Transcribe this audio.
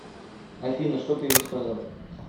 афина что ты ему сказал